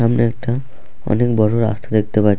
আমরা একটা অনেক বড় রাস্তা দেখতে পা--